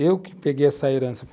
Eu que peguei essa herança.